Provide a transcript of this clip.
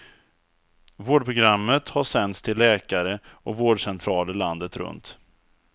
Vårdprogrammet har sänts till läkare, och vårdcentraler landet runt.